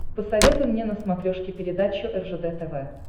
посоветуй мне на смотрешке передачу ржд тв